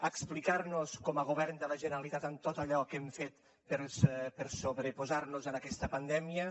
explicar nos com a govern de la generalitat en tot allò que hem fet per sobreposar nos a aquesta pandèmia